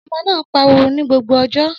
Ọmọ náà ń pariwo ní gbogbo ọjọ́